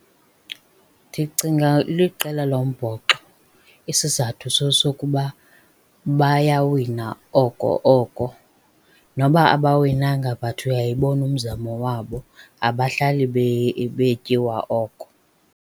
Ndicinga liqela lombhoxo. Isizathu sesokokuba bayawina oko oko. Noba abawinanga but uyayibona umzamo wabo. Abahlali betyiwa oko.